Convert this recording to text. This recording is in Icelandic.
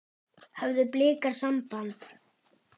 Höfðu Blikar samband?